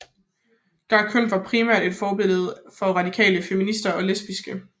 Garçonnen var primært et forbillede for radikale feminister og lesbiske